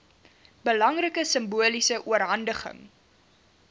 belangrike simboliese oorhandiging